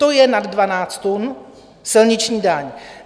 To je nad 12 tun silniční daň.